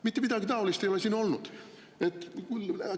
Mitte midagi taolist ei ole olnud!